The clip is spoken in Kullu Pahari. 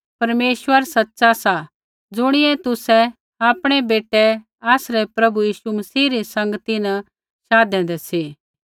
परमेश्वर सच़ा सा ज़ुणियै तुसै आपणै बेटै आसरै प्रभु यीशु मसीह री संगती न शाधूदा सा